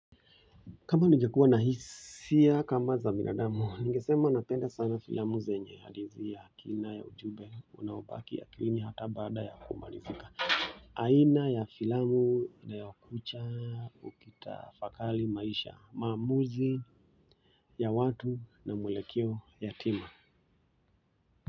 Kama nigekua na hisia kama za binadamu, nigesema napenda sana filamu zenye hadithi ya kina ya ujumbe unaobaki akilini hata bada ya kumalizika. Aina ya filamu inayokucha ukitafakari maisha, maamuzi ya watu na mwelekeo yatima.